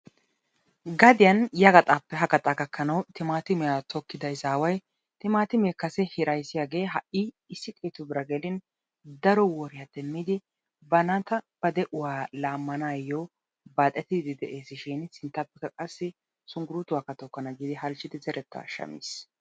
gaddiyan ya gaxaappe ha gaxxa gakkanawu timaatimiya tokkida izawu haa'i issi xeetu bira gidin banakka ba de; uwakka laamidi ha'i shunkuruutuwakka tokana giidi de'ees.